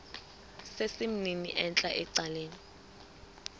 sesimnini entla ecaleni